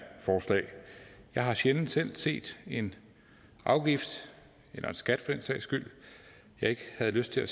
forslag jeg har sjældent selv set en afgift eller en skat den sags skyld jeg ikke havde lyst til at